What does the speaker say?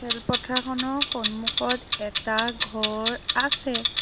খেল পথাৰখনৰ সন্মুখত এটা ঘৰ আছে।